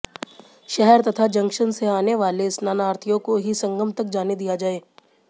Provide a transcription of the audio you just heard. शहर तथा जंक्शन से आने वाले स्नानार्थियों को ही संगम तक जाने दिया जाएगा